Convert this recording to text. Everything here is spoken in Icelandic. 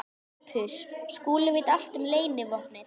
SOPHUS: Skúli veit allt um leynivopnið.